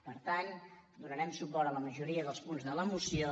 per tant donarem suport a la majoria dels punts de la moció